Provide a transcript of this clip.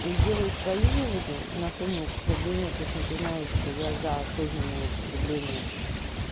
и делалаю свои выводы на фоне употребления причём ты знаешь что я за осознанное употребление